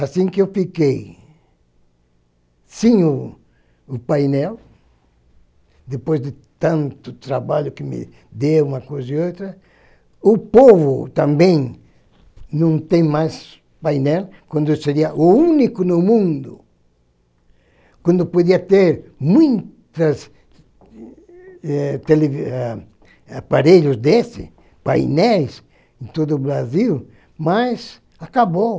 Assim que eu fiquei sem o painel, depois de tanto trabalho que me deu, uma coisa e outra, o povo também não tem mais painel, quando eu seria o único no mundo, quando podia ter muitas eh, tele ah, aparelhos desses, painéis, em todo o Brasil, mas acabou.